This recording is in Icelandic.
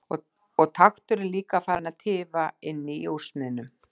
Og nú var takturinn líka farinn að tifa inni í úrsmiðnum.